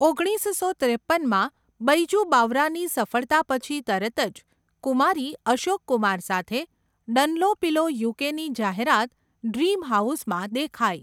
ઓગણીસસો ત્રેપનમાં, બૈજુ બાવરાની સફળતા પછી તરત જ, કુમારી અશોક કુમાર સાથે ડનલોપિલો યુકેની જાહેરાત 'ડ્રીમ હાઉસ'માં દેખાઈ.